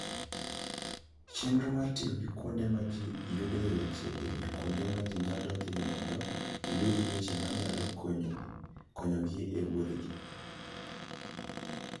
Chenro mar tiyo gi kuonde ma ji yudoe weche e wi kuonde ma ji nyalo dhiye mondo iyud weche ma nyalo konyogi e wuodhgi.